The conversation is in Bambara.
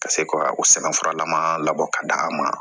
Ka se ka o sɛbɛnfuralama labɔ ka d'a ma